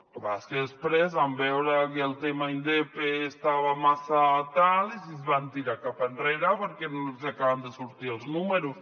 el que passa és que després van veure que el tema indepe estava massa tal i es van tirar cap enrere perquè no els hi acabaven de sortir els números